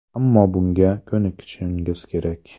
Ammo bunga ko‘nikishingiz kerak.